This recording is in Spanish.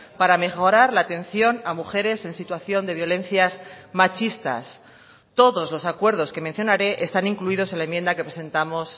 para mejorar la atención a mujeres en situación de violencias machistas todos los acuerdos que mencionaré están incluidos en la enmienda que presentamos